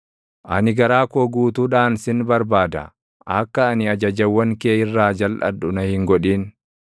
Ani garaa koo guutuudhaan sin barbaada; akka ani ajajawwan kee irraa jalʼadhu na hin godhin.